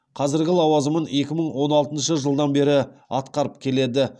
қазіргі лауазымын екі мың он алтыншы жылдан бері атқарып келеді